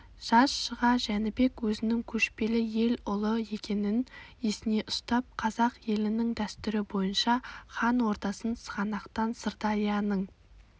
жаз шыға жәнібек өзінің көшпелі ел ұлы екенін есіне ұстап қазақ елінің дәстүрі бойынша хан ордасын сығанақтан сырдарияның